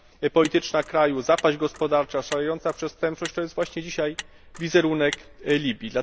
polityczna kraju, zapaść gospodarcza, szalejąca przestępczość to jest właśnie dzisiaj wizerunek Libii.